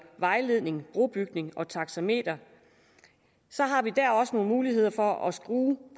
vejledning brobygning og taxameter har vi der også nogle muligheder for at skrue